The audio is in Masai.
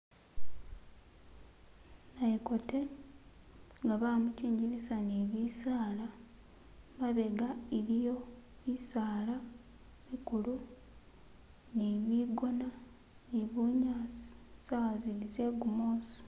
Nayekote nga bamukingilisa ne bisala , mabega iliyo bisala bikulu ni bigona ni bunyasi sawa zili ze gumusi .